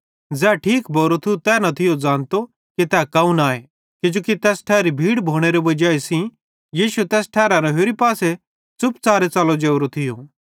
ज़ै ठीक भोरो थियो तै न थियो ज़ानतो कि तै कौन आए किजोकि तैस ठैरी भीड़ भोनेरे वजाई सेइं यीशु तैस ठैरारां होरि पासे च़ुपच़ारे च़लो जोरो थियो